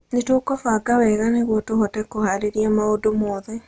Nĩ tũkũbanga wega nĩguo tũhote kũhaarĩria maũndũ mothe.